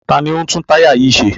Ta ni ó ń tún táyà yìí ṣe?